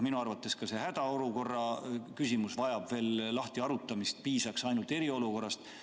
Minu arvates ka see hädaolukorra küsimus vajab veel lahtiharutamist, piisaks ainult eriolukorrast.